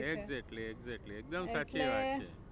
Exactly exactly એકદમ સાચી વાત છે.